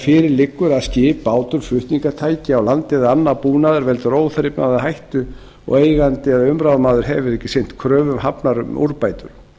fyrir liggur að skip bátur flutningstæki á landi eða annar búnaður veldur óþrifnaði eða hættu og eigandi eða umráðamaður hefur ekki sinnt kröfum hafnar um úrbætur